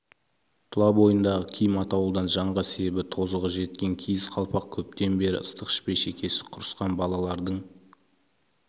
тұлабойындағы киім атаулыдан жанға себі тозығы жеткен киіз қалпақ көптен бері ыстық ішпей шекесі құрысқан балалардың